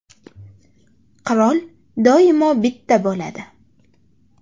Qirol doimo bitta bo‘ladi .